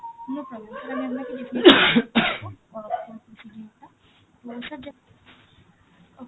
no problem sir, আমি আপনাকে যে করাব procedure টা okay